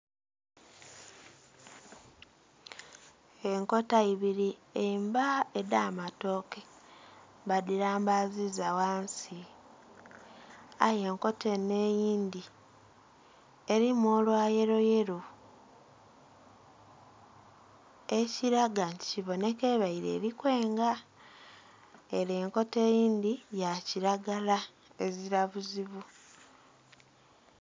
Enkota ibiri emba edh'amatooke badhirambaziza wansi aye enkota eno eindhi erimu olwayelo yelo ekiraga nti kibonika ebaire erikwenga, ere enkota eyindhi yakiragala ezira buzibu.